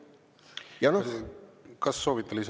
Kas soovite lisaaega?